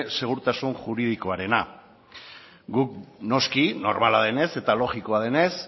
segurtasun juridikoarena dela guk noski normala denez eta logikoa denez